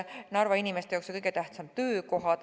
Narva inimeste jaoks on kõige tähtsamad töökohad.